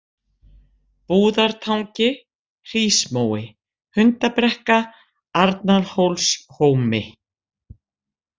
Búðartangi, Hrísmói, Hundabrekka, Arnarhólshómi